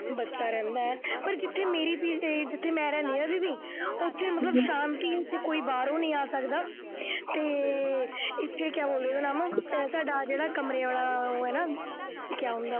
ਬੱਚਾ ਰਹਿੰਦਾ ਹੈ, ਪਰ ਇੱਥੇ ਮੇਰੀ ਜਿੱਥੇ ਮੈਂ ਰਹਿੰਦੀ ਹਾਂ, ਉੱਥੇ ਮਤਲਬ ਸ਼ਾਂਤੀ ਕੋਈ ਬਾਹਰੋ ਨਹੀਂ ਆ ਸਕਦਾ ਅਤੇ ਇੱਥੇ ਕਿਆ ਇਹ ਸਰਦਾਰ ਜਿਹੜਾ ਕਮਰੇ ਵਾਲਾ ਉਹ ਹੈ ਨਾ, ਕਿਆ ਹੁੰਦਾ ਉਹ